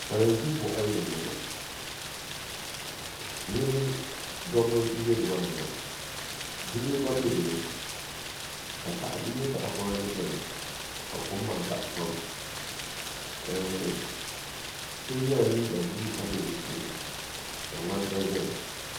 Salin gbiri boɣali ni n boŋo dabba n bɛ numaani maa bibil gba bɛ dinni n nyɛ tahapona ni biɛni ka kom maa daɣa pam so yɛla liiga buluu ka bɛ di puuni ka ŋmani gba ʒɛya